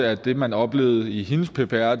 at det man oplevede i hendes ppr